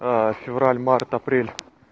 февраль март апрель